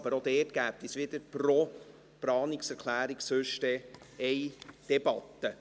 Aber auch dort gäbe es sonst pro Planungserklärung eine Debatte.